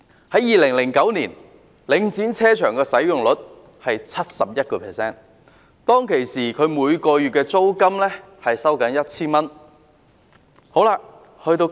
在2009年，領展停車場的使用率是 71%， 當時每月租金是 1,000 元。